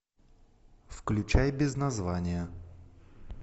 включай без названия